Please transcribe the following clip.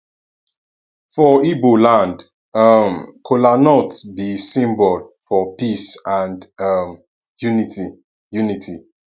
for igbo land um kola b symbol for peace and um unity unity